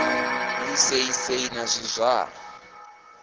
ḓi sei sei na zwizwala